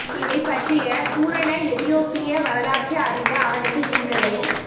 இவை பற்றிய பூரண எதியோப்பிய வரலாற்று அறிவு அவனுக்கு இருந்ததை